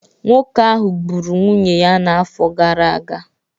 Nwoke ahụ gburu nwunye ya n'afọ gara aga